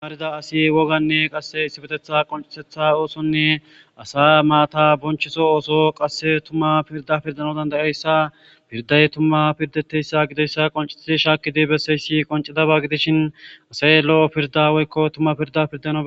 Tamarida ass wogane qase issipetetha qonciso oothonne asa mata bonchiso ootho qase tuma pirda pirdana danda'iyaysa pirday tuma pirdetiyaysa gidoysa qoncid bese.